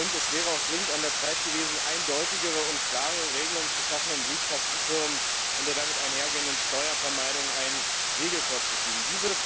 Es wäre auch dringend an der Zeit gewesen, eindeutigere und klarere Regelungen zu schaffen, um Briefkastenfirmen und der damit einhergehenden Steuervermeidung einen Riegel vorzuschieben.